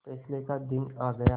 फैसले का दिन आ गया